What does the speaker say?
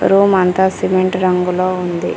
Room అంతా cement రంగులో ఉంది.